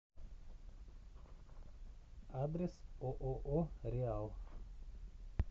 адрес ооо реал